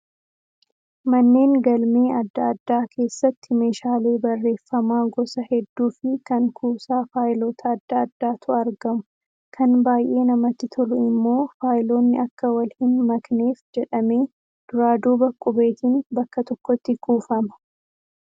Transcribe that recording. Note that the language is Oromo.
Manneen galmee adda addaa keessatti meeshaalee barreeffamaa gosa hedduu fi kan kuusaa faayilota adda addaatu argamu. Kan baay'ee namatti tolu immoo faayiloonni akka wal hin makneef jedhamee duraa duuba qubeetiin bakka tokkotti kuufama.